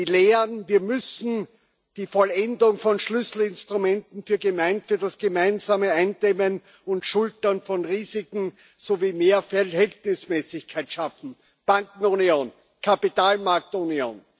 Die Lehren Wir müssen die Vollendung von Schlüsselinstrumenten für das gemeinsame Eindämmen und Schultern von Risiken sowie mehr Verhältnismäßigkeit schaffen Bankenunion, Kapitalmarktunion.